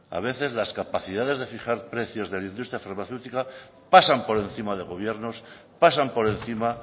a veces las capacidades de fijar precios de la industria farmacéutica pasan por encima de gobiernos pasan por encima